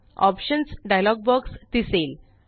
options dialog box दिसेल